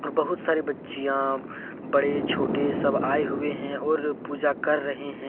और बहुत सारे बच्चियां बड़े-छोटे सब आए हुए हैं और पूजा कर रहे हैं।